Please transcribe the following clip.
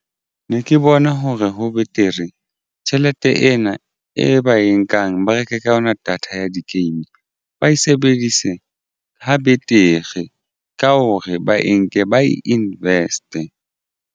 Ne ke bona hore ho betere tjhelete ena e ba e nkang ba reke ka yona data ya di-game ba e sebedise ho betere ka hore ba e nke ba invest-e.